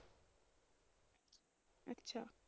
ਅੱਛਾ।